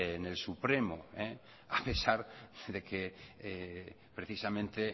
en el supremo a pesar de que precisamente